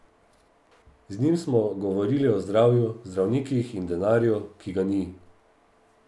Z njim smo govorili o zdravju, zdravnikih in denarju, ki ga ni.